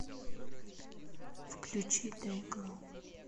включи дэйглоу